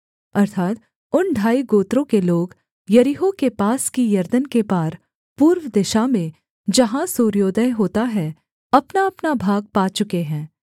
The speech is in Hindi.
अर्थात् उन ढाई गोत्रों के लोग यरीहो के पास की यरदन के पार पूर्व दिशा में जहाँ सूर्योदय होता है अपनाअपना भाग पा चुके हैं